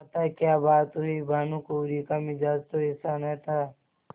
माताक्या बात हुई भानुकुँवरि का मिजाज तो ऐसा न था